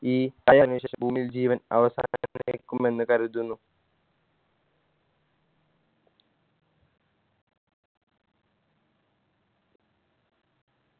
ഈ ശേഷം ഭൂമിയിൽ ജീവൻ അവസാനിക്കുമെന്ന് കരുതുന്നു